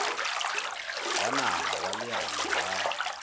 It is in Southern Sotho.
wa naha wa leano la